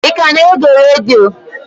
Ị ka na-ege redio?